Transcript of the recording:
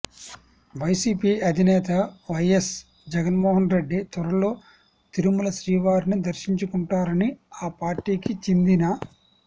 YCP అధినేత వైఎస్ జగన్మోహన్రెడ్డి త్వరలో తిరుమల శ్రీవారిని దర్శించుకుంటారని ఆ పార్టీకి చెందిన